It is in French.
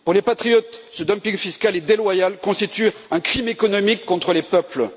Pour les patriotes, ce dumping fiscal et déloyal constitue un crime économique contre les peuples.